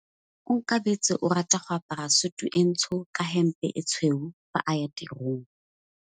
Onkabetse o rata go apara sutu e ntsho ka hempe e tshweu fa a ya tirong.